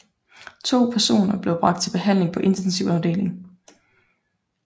To persone blev bragt til behandling på intensiv afdeling